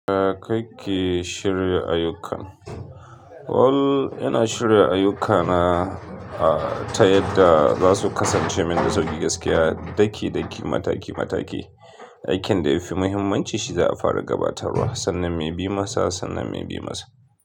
YaKake shirya ayyukan? Well, ina shirya ayyukana a ta yadda za su kasance min da sauƙi gaskiya. Daki-daki, mataki-mataki. Aikin da ya fi muhimmanci shi za a fara gabatarwa sannan mai bi masa, sannan mai bi masa.